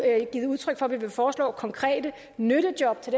givet udtryk for at vi vil foreslå konkrete nyttejob til